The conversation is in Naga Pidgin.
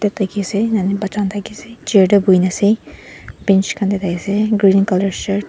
ase ene na bacha khan thakey ase chair tey bohi kena ase bench khan tey thakey ase green colour shirt .